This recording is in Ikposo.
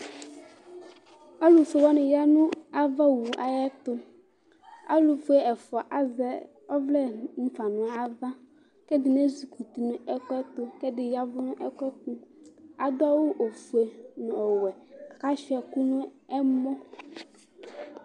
Alu fue wani ya nu ava owu ayɛtu Alu fue ɛfua azɛ ɔvlɛ mu fa nu ava ku ɛdini ezi kuti nu ɛku ɛtu ku ɛdi ya ɛvu nu ɛku ɛtu Adu awu ɔfue nu ɔwɛ ku asuia ɛku nu ɛmɔ